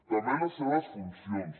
també les seves funcions